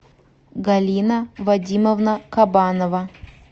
галина вадимовна кабанова